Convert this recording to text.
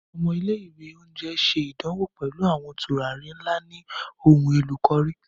Ọmọ ile-iwe onjẹ ṣe idanwo pẹlu awọn turari nla ni ohunelo cùrry.